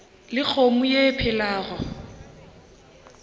le kgomo ye e phelago